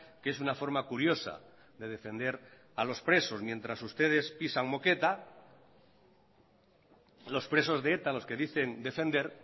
que es una forma curiosa de defender a los presos mientras ustedes pisan moqueta los presos de eta los que dicen defender